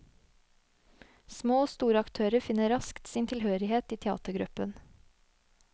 Små og store aktører finner raskt sin tilhørighet i teatergruppen.